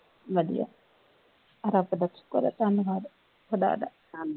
ਵਧੀਆਂ ਰੱਬ ਦਾ ਸ਼ੁਕਰ ਆ